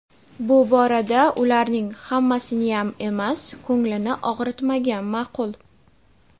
bu borada ularning (hammasiniyam emas) ko‘nglini og‘ritmagan ma’qul.